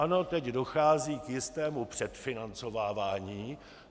Ano, teď dochází k jistému předfinancovávání.